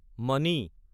মানি